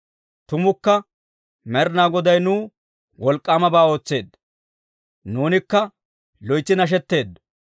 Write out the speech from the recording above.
Tumukka Med'inaa Goday nuw wolk'k'aamabaa ootseedda; nuunikka loytsi nashetteeddo.